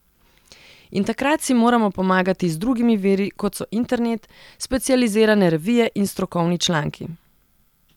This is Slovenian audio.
In takrat si moramo pomagati z drugimi viri, kot so internet, specializirane revije in strokovni članki.